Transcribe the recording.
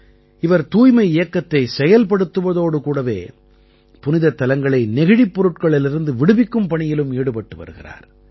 இவர் தூய்மை இயக்கத்தைச் செயல்படுத்துவதோடு கூடவே புனிதத் தலங்களை நெகிழிப் பொருட்களிலிருந்து விடுவிக்கும் பணியிலும் ஈடுபட்டு வருகிறார்